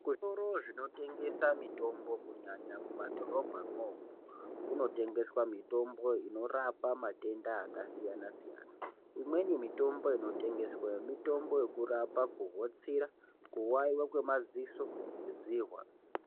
Zvitoro zvinotengesa mitombo, kunyanya mumadhorobha imomo ,kunotengeswa mitombo inorapa matenda akasiyana siyana .Imweni mitombo inotengeswa mitombo yekurapa kuhetsura, kuwawiwa kwemaziso nedzihwa.